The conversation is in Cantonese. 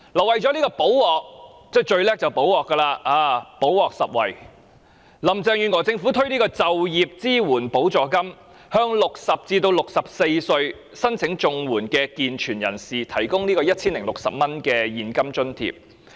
為了"補鑊"——政府最擅長"補鑊"，"補鑊拾遺"——林鄭月娥政府推出就業支援補助金，向60歲至64歲申領綜援的健全人士提供 1,060 元現金津貼。